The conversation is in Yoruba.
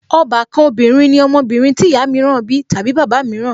Ọbàkan obìnrin ní ọmọbìnrin tí ìyá mìíràn bí tàbí bàbá mìíràn